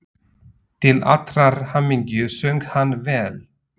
Til allrar hamingju söng hann vel!